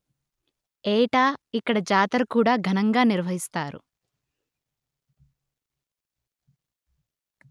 ఏటా ఇక్కడ జాతర కూడా ఘనంగా నిర్వహిస్తారు